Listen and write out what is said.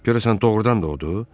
Görəsən doğurdan da odur?